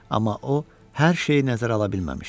Amma o hər şeyi nəzərə ala bilməmişdi.